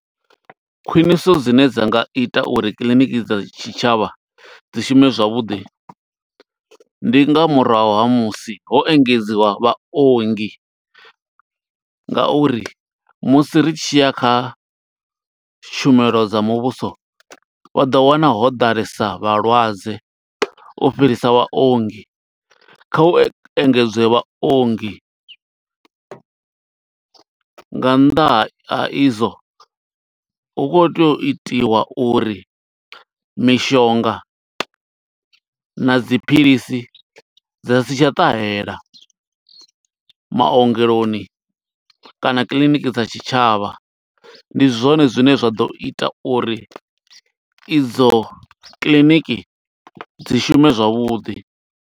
Khwiṋiso dzine dza nga ita uri kiḽiniki dza tshitshavha, dzi shume zwavhuḓi, ndi nga murahu ha musi ho engedziwa vhaongi, nga uri musi ri tshi ya kha tshumelo dza muvhuso, vha ḓo wana ho ḓalesa vhalwadze, u fhirisa vhaongi. Kha hu engedzwe vhaongi, nga nnḓa ha i zwo hu khou tea u itiwa uri mishonga na dzi philisi, dza si tsha ṱahela maongeloni kana kiḽiniki dza tshitshavha. Ndi zwone zwine zwa ḓo ita uri, i dzo kiḽiniki dzi shume zwavhuḓi.